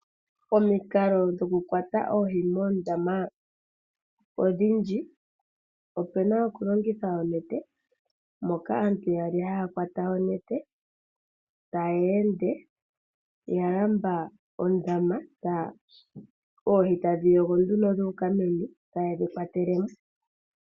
Omikalo dhoku kwata oohi moondoma odhindji. Opuna oku longitha oonete moka aantu yaali haya kwata onete taya ende ya lamba ondama oohi tadhi yogo nduno dhuuka meni etayi dhi kwatele mo.